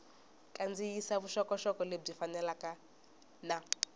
kandziyisa vuxokoxoko lebyi fambelanaka na